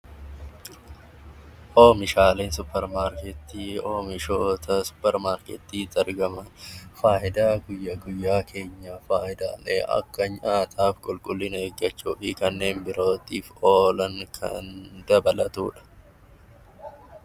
Oomishaalee suupparmaarkeetii jechuun oomishaalee suupparmaarkeetii keessatti argaman fayidaa guyyaa guyyaa kan akka nyaataa , qulqullina eeggachuu fi kanneen birootiif oolan kan dabalatudha